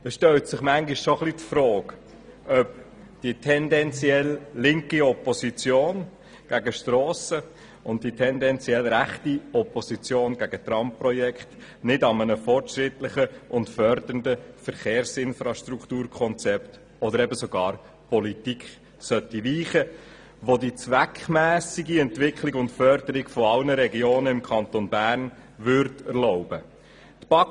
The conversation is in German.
Manchmal stellt man sich schon die Frage, ob die tendenziell linke Opposition gegen Strassen und die tendenziell rechte Opposition gegen Tramprojekte nicht einem fortschrittlichen und fördernden Verkehrsinfrastrukturkonzept oder eben sogar einer entsprechenden Politik weichen sollten, welche die zweckmässige Entwicklung und Förderung aller Regionen im Kanton Bern erlauben würde.